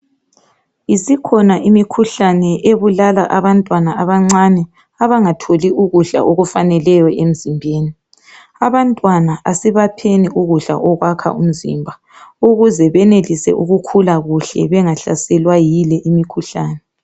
isikhona imikhuhlane ebulala abantwana abancane abangatholiyo ukudla okuwaneleyo emzimbeni abantwana asibapheni ukudla okuyakha imizimba ukuze benelise ukukhula kuhle bengahlaselwa yile imikhuhlane